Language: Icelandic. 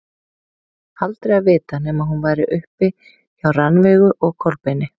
Aldrei að vita nema hún væri uppi hjá Rannveigu og Kolbeini.